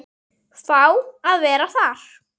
Fá að vera þar.